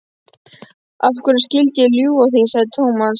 Af hverju skyldi ég ljúga því? sagði Thomas.